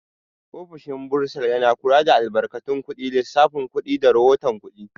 Ofishin bursar yana kula da albarkatun kuɗi, lissafin kuɗi, da rahoton kuɗi.